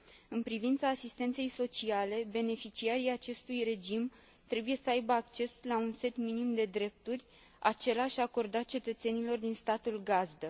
În privința asistenței sociale, beneficiarii acestui regim trebuie să aibă acces la un set minim de drepturi, același acordat cetățenilor din statul gazdă.